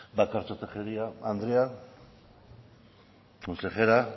bakartxo tejeria andrea consejera